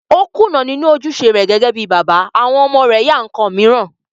O kùnà nínú ojúṣe rẹ̀ gẹ́gẹ́ bíi bàbá, àwọn ọmọ rẹ̀ ya ǹkan mìíràn